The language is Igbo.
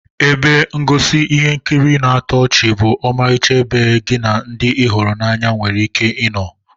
Ebe ngosi ihe nkiri na-atọ ọchị bụ ọmarịcha ebe gi na ndi ị hụrụ n'anya were ike ino